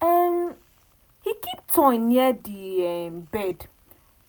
um he keep toy near the um bed